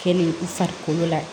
Kɛ ni i farikolo la